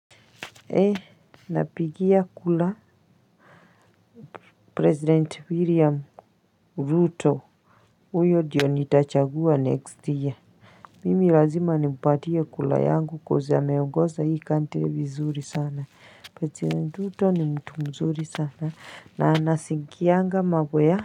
Ee napigia kula president william ruto huyo ndio nitachagua next year mimi lazima nimpatie kura yangu coz ameongoza hii country vizuri sana president ruto ni mtu mzuri sana na anasikianga mambo ya.